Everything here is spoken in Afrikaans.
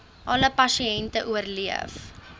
alle pasiënte oorleef